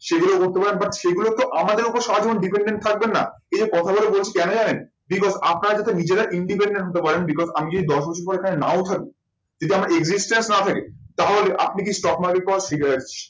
সেগুলো but সেগুলো তো আমাদের ওপর সারা জীবন depended থাকবেন না এই কথা গুলো বলছি কেন জানেন? আপনারা যাতে নিজেরা Independent হতে পারেন because আমি যদি দশ বছর পরে নাও থাকি যদি আমার না থাকে তাহলে আপনাকে stock market করা